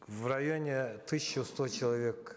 в районе тысячи сто человек